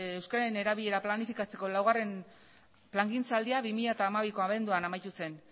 euskararen erabilera planifikatzeko laugarren plangintzaldia bi mila hamabiko abenduan amaitu zen